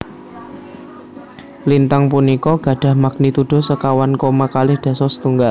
Lintang punika gadhah magnitudo sekawan koma kalih dasa setunggal